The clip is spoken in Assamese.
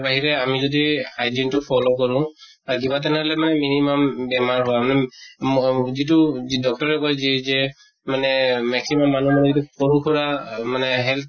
আৰু তাৰ বাহিৰে আমি যদি hygiene টো follow কৰো, তাত কিবা তেনেহʼলে মানে minimum বেমাৰ হোৱা ম যিটো, যি doctor এ যি যে মানে maximum মানুহ মানে সৰু সুৰা মানে health